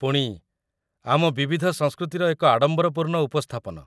ପୁଣି, ଆମ ବିବିଧ ସଂସ୍କୃତିର ଏକ ଆଡ଼ମ୍ବରପୂର୍ଣ୍ଣ ଉପସ୍ଥାପନ